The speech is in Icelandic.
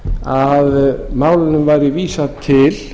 að málinu væri vísað til